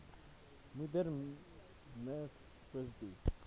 moeder miv positief